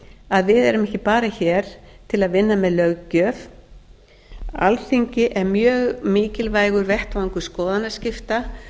að við erum ekki bara hér til að vinna með löggjöf alþingi er mjög mikilvægur vettvangur skoðanaskipta